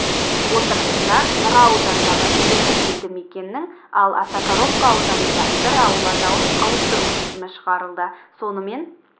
отырысында нұра ауданындағы екі елдімекеннің ал осакаровка ауданында бір ауыл атауын ауыстыру шешімі шығарылды сонымен